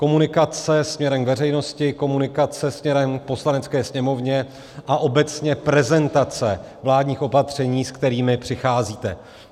Komunikace směrem k veřejnosti, komunikace směrem k Poslanecké sněmovně a obecně prezentace vládních opatření, se kterými přicházíte.